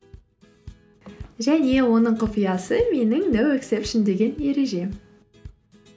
және оның құпиясы менің ноу ексепшен деген ережем